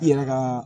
I yɛrɛ ka